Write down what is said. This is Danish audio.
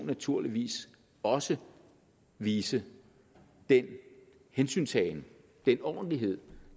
naturligvis også vise den hensyntagen den ordentlighed